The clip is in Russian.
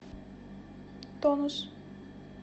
тонус